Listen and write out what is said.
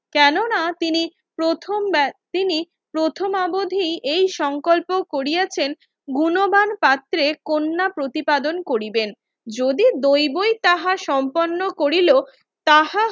কেননা তিনি প্রথম তিনি প্রথম অবধিই এই সংকল্প করিয়াছেন গুণবান পাত্রে কন্যা প্রতিপাদন করিবেন যদি দৈবই তাহার সম্পন্ন করিল তাহা